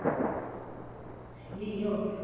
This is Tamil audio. ஐயையோ